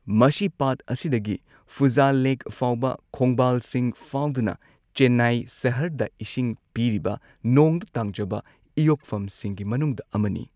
ꯃꯁꯤ ꯄꯥꯠ ꯑꯁꯤꯗꯒꯤ ꯄꯨꯓꯥꯜ ꯂꯦꯛ ꯐꯥꯎꯕ ꯈꯣꯡꯕꯥꯜꯁꯤꯡ ꯐꯥꯎꯗꯨꯅ ꯆꯦꯟꯅꯥꯏ ꯁꯍꯔꯗ ꯏꯁꯤꯡ ꯄꯤꯔꯤꯕ ꯅꯣꯡꯗ ꯇꯥꯡꯖꯕ ꯏꯌꯣꯛꯐꯝꯁꯤꯡꯒꯤ ꯃꯅꯨꯡꯗ ꯑꯃꯅꯤ꯫